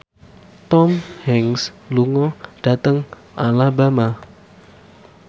Tom Hanks lunga dhateng Alabama